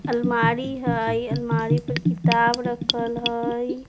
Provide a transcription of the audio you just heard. अलमारी हई अलमारी पर किताब रखल हई।